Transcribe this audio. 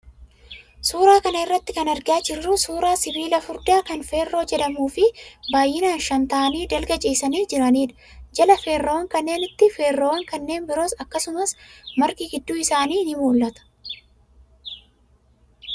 Suuraa kana irraa kan argaa jirru suuraa sibiila furdaa kan feerroo jedhamuu fi baay'inaan shan ta'anii dalga ciisanii jiranidha. Jala feerroowwan kaneenniitti feerroowwan kanneen biroo akkasumas margi gidduu isaanii ni mul'ata.